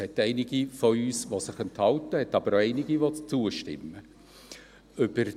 Es gibt einige von uns, die sich enthalten, aber auch einige, die zustimmen werden.